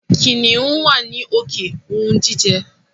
Kìnìún wá ní òkè ounjijẹ.